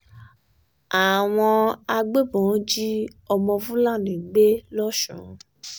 àwọn agbébọn jí ọmọ fúlàní gbé lọ́sùn